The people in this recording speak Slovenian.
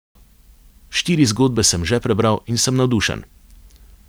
Štiri zgodbe sem že prebral in sem navdušen.